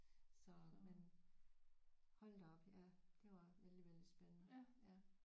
Så men hold da op ja det var vældig vældig spændende ja